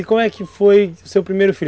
E como é que foi o seu primeiro filho?